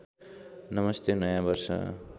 नमस्ते नयाँ वर्ष